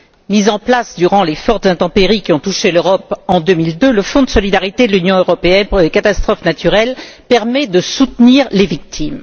Mis en place durant les fortes intempéries qui ont touché l'Europe en 2002, le Fonds de solidarité de l'Union européenne pour les catastrophes naturelles permet de soutenir les victimes.